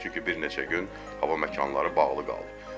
Çünki bir neçə gün hava məkanları bağlı qaldı.